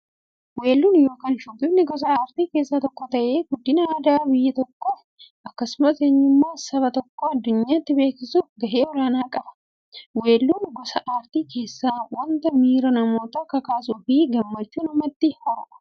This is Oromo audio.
Weelluun yookin shubbifni gosa aartii keessaa tokko ta'ee, guddina aadaa biyya tokkoof akkasumas eenyummaa saba tokkoo addunyyaatti beeksisuuf gahee olaanaa qaba. Weelluun gosa artii keessaa wanta miira namootaa kakaasuufi gammachuu namatti uumudha.